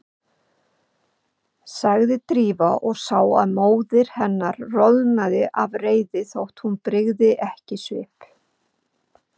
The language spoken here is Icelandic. sagði Drífa og sá að móðir hennar roðnaði af reiði þótt hún brygði ekki svip.